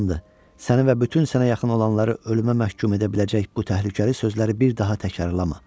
Amandır, səni və bütün sənə yaxın olanları ölümə məhkum edə biləcək bu təhlükəli sözləri bir daha təkrarlama.